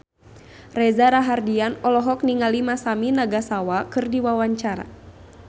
Reza Rahardian olohok ningali Masami Nagasawa keur diwawancara